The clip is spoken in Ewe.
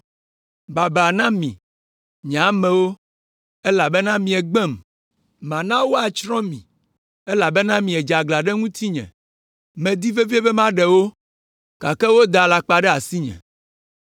Baba na mi, nye amewo, elabena miegbem; mana woatsrɔ̃ mi, elabena miedze aglã ɖe ŋutinye! Medi vevie be maɖe wo, gake woda alakpa ɖe asinye.